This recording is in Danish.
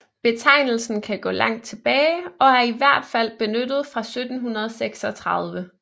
Betegnelsen kan gå langt tilbage og er i hvert fald benyttet fra 1736